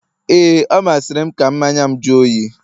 ee, ọ masịrị m ka mmanya'm jụọ oyi